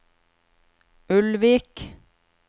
Ulvik